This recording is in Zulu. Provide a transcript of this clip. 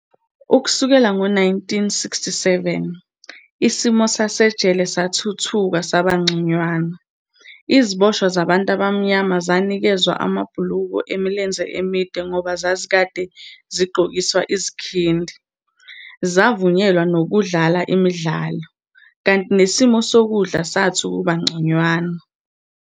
Ukusukela ngo-1967, isimo sasejele sathuthuka sabangconywana, iziboshwa zabantu abamnyama zaniikezwa amabhulukwe emilenze emide ngoba zazikade zigqokiswa izikhindi, zavunyelwa nokudlala imidlalo, kanti nesimo sokudla sathi ukubangconywana.